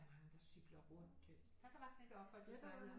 Er mange der cykler rundt øh